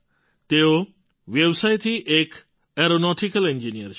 તેઓ વ્યવસાયથી એક ઍરોનૉટિકલ એન્જિનિયર છે